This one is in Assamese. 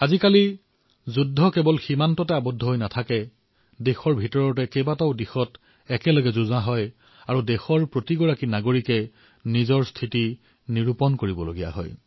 আজিকালি যুদ্ধ কেৱল সীমাতেই নহয় দেশৰ ভিতৰতো বিভিন্ন ক্ষেত্ৰত হয় আৰু প্ৰতিজন দেশবাসীয়েই সেই যুদ্ধত নিজৰ ভূমিকা নিশ্চিত কৰিবলগীয়া হয়